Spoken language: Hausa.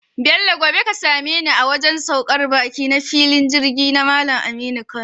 Bello gobe ka sameni a wajan saukar baki na filin Jirgi na Mallan Aminu Kano